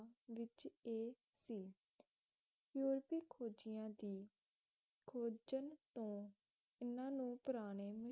ਵਿੱਚ ਇਹ ਸੀ ਯੂਰਪੀ ਖੋਜੀਆਂ ਦੀ ਖੋਜਣ ਤੋ ਇਹਨੂੰ ਪੁਰਾਣੇ